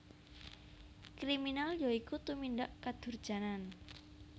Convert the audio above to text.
Kriminal ya iku tumindak kadurjanan